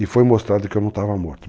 E foi mostrado que eu não estava morto.